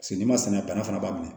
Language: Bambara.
n'i ma sɛnɛ bana fana b'a minɛ